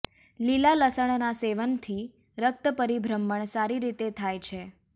લીલા લસણના સેવનથી રક્ત પરીભ્રમણ સારી રીતે થાય છે